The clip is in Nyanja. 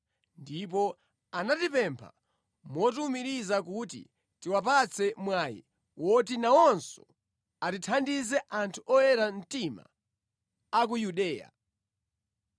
ndipo anatipempha motiwumiriza kuti tiwapatse mwayi woti nawonso athandize anthu oyera mtima a ku Yudeya.